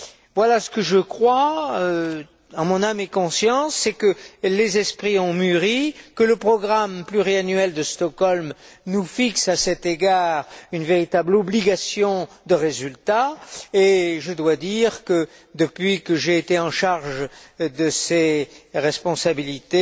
Voilà, ce que je crois, en mon âme et conscience, c'est que les esprits ont mûri, que le programme pluriannuel de Stockholm nous impose à cet égard une véritable obligation de résultat et je dois dire que, depuis que j'ai été chargé de ces responsabilités,